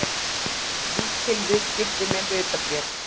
Lítil viðskipti með hlutabréf